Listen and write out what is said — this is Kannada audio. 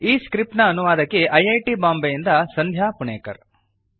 ಈ ಸ್ಕ್ರಿಪ್ಟ್ ನ ಅನುವಾದಕಿ ಐ ಐ ಟಿ ಬಾಂಬೆಯಿಂದ ಸಂಧ್ಯಾ ಪುಣೇಕರ್